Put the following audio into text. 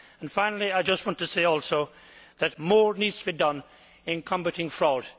Finally, I just want to say also that more needs to be done in combating fraud.